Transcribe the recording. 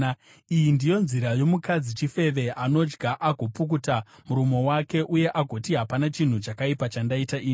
“Iyi ndiyo nzira yomukadzi chifeve: Anodya agopukuta muromo wake uye agoti, ‘Hapana chinhu chakaipa chandaita ini.’